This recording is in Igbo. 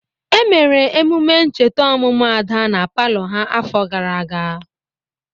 Emere emume ncheta ọmụmụ Ada na palọ ha n'afọ gara aga.